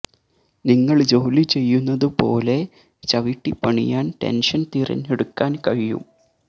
നിങ്ങൾ ജോലി ചെയ്യുന്നതു പോലെ ചവിട്ടി പണിയാൻ ടെൻഷൻ തിരഞ്ഞെടുക്കാൻ കഴിയും